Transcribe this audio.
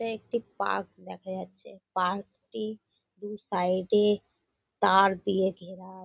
এ একটি পার্ক দেখা যাচ্ছে পার্ক -টি দু সাইড -এ তার দিয়ে ঘেরা।